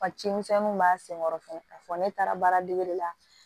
Wa ci misɛnninw b'a senkɔrɔ k'a fɔ ne taara baaradege la